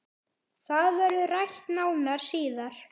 Það verður rætt nánar síðar